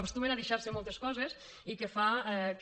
éstumen a deixar se moltes coses i fa que